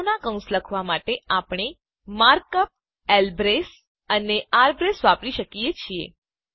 નોંધ લો કે ગણોનાં કૌંસ લખવાં માટે આપણે માર્ક અપ લ્બ્રેસ અને ર્બ્રેસ વાપરી શકીએ છીએ